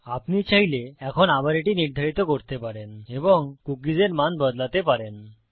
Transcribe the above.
আপনি চাইলে এখন আবার এটি নির্ধারিত করতে পারেন এবং কুকীস এর মান বদলাতে পারেন